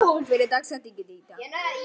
Joshua, hver er dagsetningin í dag?